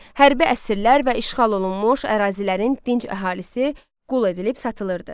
Hərbi əsirlər və işğal olunmuş ərazilərin dinc əhalisi qul edilib satılırdı.